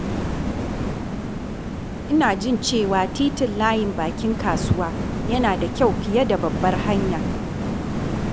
Ina jin cewa titin Layin Bakin Kasuwa yana da kyau fiye da babbar hanya.